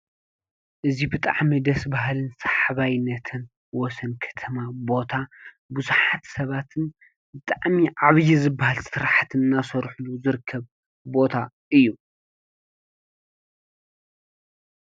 እዚ ብጣዕሚ ደስ ባሃሊን ሰሓባይነትን ወሰን ከተማ ቦታ ብዙሓት ሰባትን ብጣዕሚ ዓበይ ዝበሃል ስራሕትን እናሰርሕሉ ዝርከብሉ ቦታ እዩ።